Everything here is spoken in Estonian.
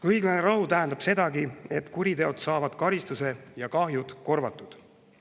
Õiglane rahu tähendab sedagi, et kuriteod saavad karistuse ja kahjud korvatud.